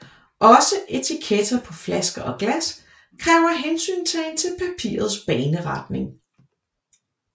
Også etiketter på flasker og glas kræver hensyntagen til papirets baneretning